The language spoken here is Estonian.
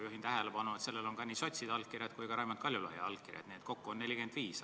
Juhin tähelepanu, et sellel on nii sotside allkirjad kui ka Raimond Kaljulaiu allkiri, nii et kokku on allkirju 45.